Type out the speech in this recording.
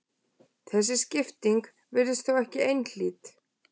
Þessi skipting virðist þó ekki einhlít.